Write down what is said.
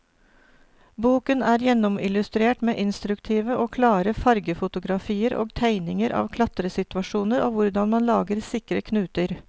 Boken er gjennomillustrert med instruktive og klare fargefotografier og tegninger av klatresituasjoner og hvordan man lager sikre knuter.